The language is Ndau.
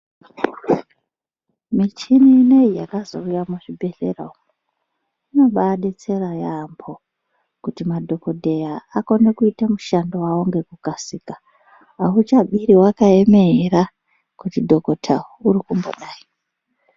Michini inoyi yakazouya muzvibhedhlera umu, inobadetsera yaamho kuti madhogodheya akone kuita mushando wavo ngekukasika. Akuchabiri wakaemera kuti dhogodheya uri kumbodai.